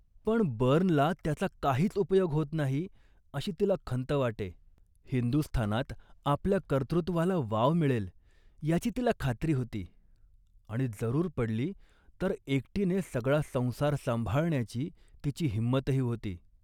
पण बर्नला त्याचा काहीच उपयोग होत नाही अशी तिला खंत वाटे. हिंदुस्थानात आपल्या कर्तृत्वाला वाव मिळेल याची तिला खात्री होती, आणि जरूर पडली, तर एकटीने सगळा संसार सांभाळण्याची तिची हिंमतही होती